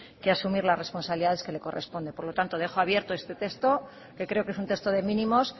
que asumir las responsabilidades que le corresponden por lo tanto dejo abierto este texto que creo que es un texto de mínimos